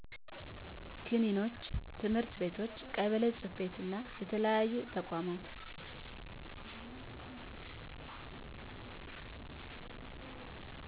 ክሊኒኮች፣ ትምህርት ቤቶች፣ ቀበሌ ጽ/ቤቶችና የተለያዩ ተቋማቶች